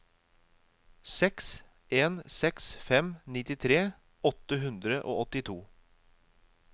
seks en seks fem nittitre åtte hundre og åttito